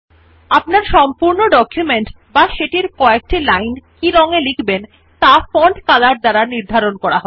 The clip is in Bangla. আপনার ডকুমেন্ট টি বা কয়েক লাইন যে রং এ লিখবেন ত়া ফন্ট Color এর দ্বারা নির্বাচন করা হয়